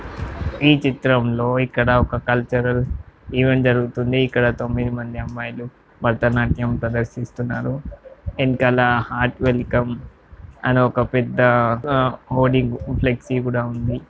ఈ చిత్రంలో ఇక్కడ ఒక కల్చరల్ ఈవెంట్ జరుగుతుంది ఇక్కడ తొమ్మిది మంది అమ్మాయిలు భరతనాట్యం ప్రదర్శిస్తున్నారు ఎనకాల హాట్ వెల్కమ్ అని ఒక పెద్ద ఓడి ఫ్లేక్స్ కూడా ఉంది.